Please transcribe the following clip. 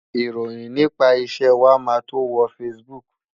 Ìròyìn nípa iṣẹ́ wa máa tó wo Facebook.